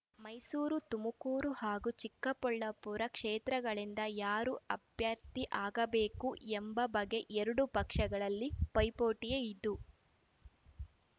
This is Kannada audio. ಮೈಸೂರು ತುಮಕೂರು ಹಾಗೂ ಚಿಕ್ಕಬಳ್ಳಾಪುರ ಕ್ಷೇತ್ರಗಳಿಂದ ಯಾರು ಅಭ್ಯರ್ಥಿ ಆಗಬೇಕು ಎಂಬ ಬಗ್ಗೆ ಎರಡೂ ಪಕ್ಷಗಳಲ್ಲಿ ಪೈಪೋಟಿಯೇ ಇದ್ದು